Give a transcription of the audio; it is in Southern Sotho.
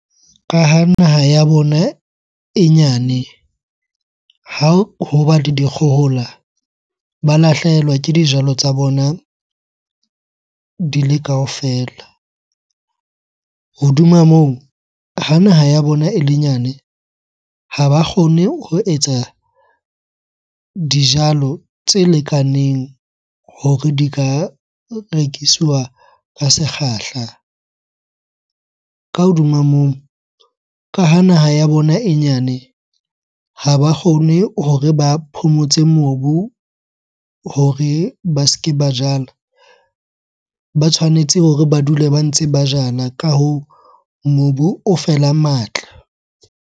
Ka ha naha ya bona e nyane, ha hoba le dikgohola ba lahlehelwa ke dijalo tsa bona di le kaofela. Hodima moo, ha naha ya bona ele nyane ha ba kgone ho etsa dijalo tse lekaneng hore di ka rekisiwa ka sekgahla. Ka hodima moo, ka ha naha ya bona e nyane ha ba kgone hore ba phomotse mobu hore ba se ke ba jala. Ba tshwanetse hore ba dule ba ntse ba jala. Ka hoo, mobu o fela matla.